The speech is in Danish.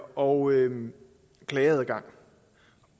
og klageadgang